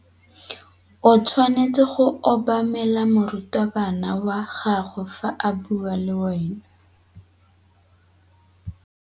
O tshwanetse go obamela morutabana wa gago fa a bua le wena.